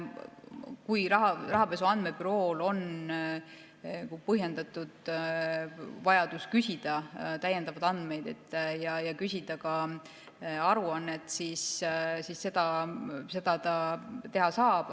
Kui Rahapesu Andmebürool on põhjendatud vajadus küsida täiendavaid andmeid ja küsida ka aruannet, siis seda ta teha saab.